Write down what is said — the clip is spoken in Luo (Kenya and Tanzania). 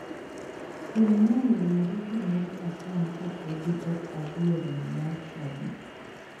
Kelnaye uru gimoro acham ka podi ok adhie romo mar cnadi.